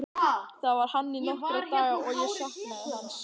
Þar var hann í nokkra daga og ég saknaði hans.